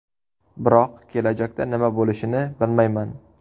Biroq kelajakda nima bo‘lishini bilmayman.